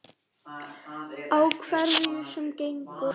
Á hverju sem gengur.